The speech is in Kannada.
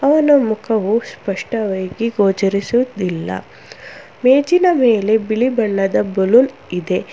ಅವನ ಮುಖವು ಸ್ಪಷ್ಟವಾಗಿ ಗೋಚರಿಸುತ್ತಿಲ್ಲ ಮೇಜಿನ ಮೇಲೆ ಬಿಳಿ ಬಣ್ಣದ ಬಲುನ್ ಇದೆ.